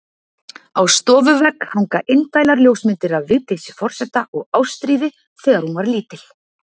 Á stofuvegg hanga indælar ljósmyndir af Vigdísi forseta og Ástríði, þegar hún var lítil.